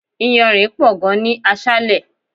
Iyanrin pò gan ni aṣále.